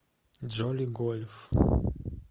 джоли гольф